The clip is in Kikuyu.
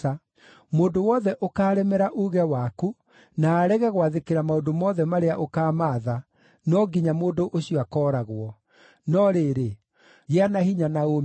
Mũndũ wothe ũkaaremera uuge waku na arege gwathĩkĩra maũndũ mothe marĩa ũkaamatha, no nginya mũndũ ũcio akooragwo. No rĩrĩ, gĩa na hinya na ũũmĩrĩrie!”